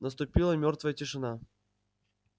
наступила мёртвая тишина